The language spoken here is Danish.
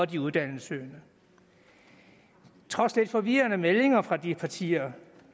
de uddannelsessøgende trods lidt forvirrende meldinger fra de partier